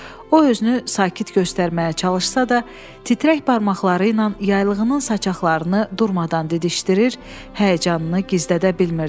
O özünü sakit göstərməyə çalışsa da, titrək barmaqları ilə yaylığının saçaqlarını durmadan didişdirir, həyəcanını gizlədə bilmirdi.